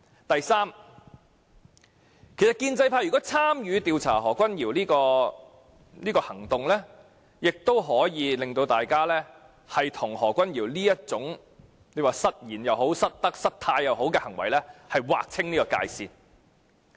第三，如建制派參與調查何君堯議員，亦可讓他們與何君堯議員這種失言、失德、失態行為劃清界線。